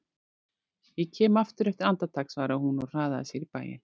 Ég kem aftur eftir andartak svaraði hún og hraðaði sér inn í bæinn.